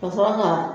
Ka sɔrɔ ka